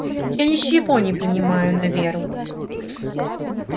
я ничего не принимаю на веру